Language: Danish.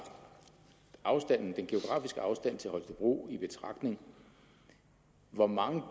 den geografiske afstand til holstebro i betragtning hvor mange